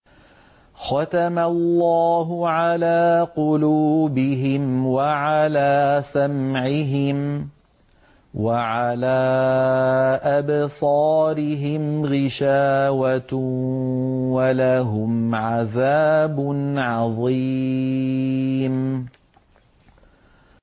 خَتَمَ اللَّهُ عَلَىٰ قُلُوبِهِمْ وَعَلَىٰ سَمْعِهِمْ ۖ وَعَلَىٰ أَبْصَارِهِمْ غِشَاوَةٌ ۖ وَلَهُمْ عَذَابٌ عَظِيمٌ